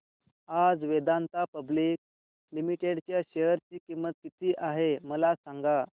आज Vedanta public limited च्या share ची किंमत किती आहे मला सांगा